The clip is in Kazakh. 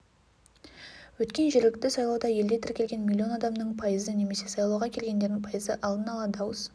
өткен жергілікті сайлауда елде тіркелген миллион адамның пайызы немесе сайлауға келгендердің пайызы алдын ала дауыс